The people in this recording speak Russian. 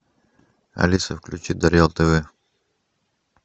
алиса включи дарьял тв